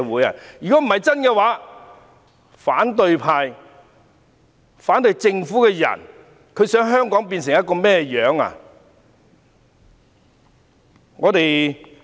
如果不是真的，反對派及反對政府的人究竟想香港變成甚麼樣子？